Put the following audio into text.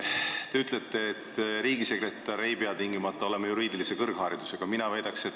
Te ütlete, et riigisekretär ei pea tingimata olema juriidilise kõrgharidusega.